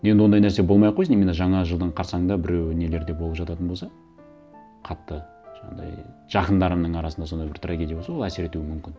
енді ондай нәрсе болмай ақ қойсын именно жаңа жылдың қарсаңында біреу нелер де болып жататын болса қатты жаңағындай жақындарымның арасында сондай бір трагедия болса ол әсер етуі мүмкін